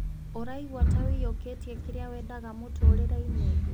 ũraigua ta wĩiyũkĩtie kĩrĩa wendaga mũtũrire-inĩ